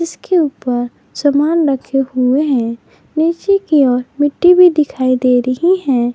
इसके ऊपर सामान रखे हुए है नीचे की ओर मिट्टी भी दिखाई दे रही है।